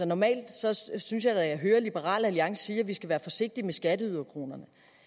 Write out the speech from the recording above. normalt synes synes jeg da at jeg hører liberal alliance sige at vi skal være forsigtige med skatteyderkronerne